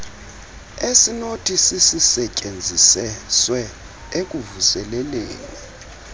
esinothi sisisetyenziswe ekuvuseleleni